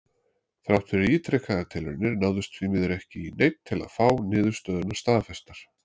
Þrátt fyrir ítrekaðar tilraunir náðist því miður ekki í neinn til að fá niðurstöðurnar staðfestar.